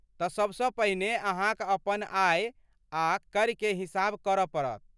तऽ सभसँ पहिने अहाँक अपन आय आ कर के हिसाब करऽ पड़त।